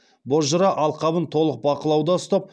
бозжыра алқабын толық бақылауда ұстап